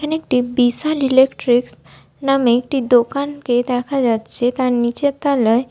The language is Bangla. এখানে একটি বিশাল ইলেকট্রিকস নামে একটি দোকানকে দেখা যাচ্ছে তার নিচের তলায় --